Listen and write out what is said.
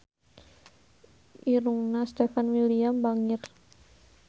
Irungna Stefan William bangir